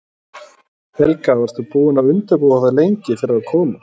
Helga: Varstu búin að undirbúa þig lengi fyrir að koma?